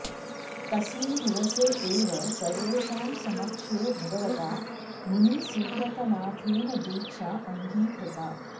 तस्मिन् दिवसे एव सर्वेषां समक्षे भगवता मुनिसुव्रतनाथेन दीक्षा अङ्गीकृता